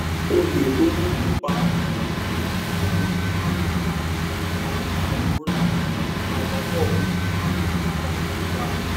o lè ronú nípa um lílo àwọn oògùn um apàrora bíi tramadol fún ìtura ìrora